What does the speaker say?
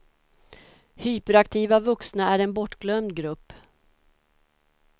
Hyperaktiva vuxna är en bortglömd grupp.